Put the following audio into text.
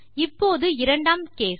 இப்போது இரண்டாம் கேஸ்